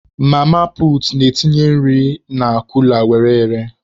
Mama puutu na-etinye nri ha na kula were ere.